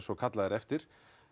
og kallað er eftir